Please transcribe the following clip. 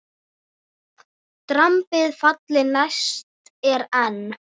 Drambið falli næst er enn.